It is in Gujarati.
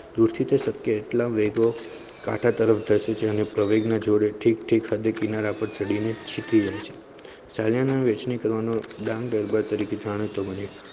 દુર થી તો સક્યા એટલા વેગ કાતા તરેફ ધસે છે પ્રવેગ માં જો જોડેઠીક સાથે કિનારા પર કાઢી ને ડાંગ દરબા તરીકે જનો તમે